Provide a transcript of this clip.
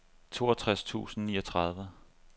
toogtres tusind og niogtredive